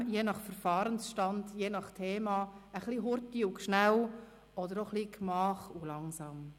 Je nach Verfahrensstand, je nach Thema ein bisschen hurtig und schnell oder etwas gemach und langsam.